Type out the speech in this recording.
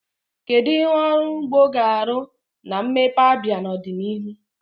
Kedu ihe ọrụ ugbo ga-arụ na mmepe Abia n'ọdịnihu?